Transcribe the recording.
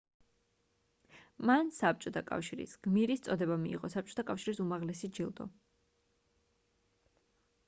მან საბჭოთა კავშირის გმირის წოდება მიიღო საბჭოთა კავშირის უმაღლესი ჯილდო